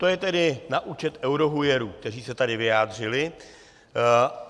To je tedy na účet eurohujerů, kteří se tady vyjádřili.